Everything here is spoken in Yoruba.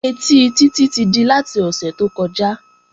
Ẹtí Títí ti di láti ọ̀sẹ̀ tó kọjá